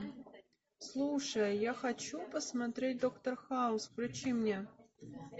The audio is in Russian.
слушай я хочу посмотреть доктор хаус включи мне